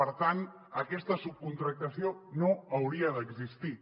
per tant aquesta subcontractació no hauria d’existir